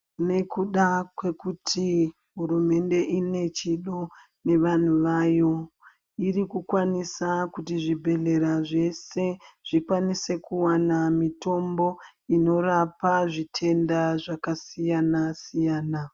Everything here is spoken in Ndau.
Nekuda kwekuti hurumende ine chido nevanhu vayo irikukwanisa kuti zvibhedhlera zvese zvikwanise kuwana mitombo inorapa zvitenda zvakasiyana siyana.